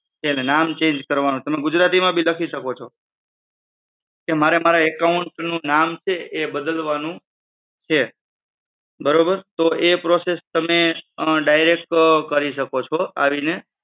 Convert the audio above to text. એટલે નામ change કરવાનું, તમે ગુજરાતીમાં બી લખી શકો છો કે મારે મારા account નું નામ છે એ બદલવાનું છે, બરોબર? તો એ process તમે direct કરી શકો છો. આ રીતે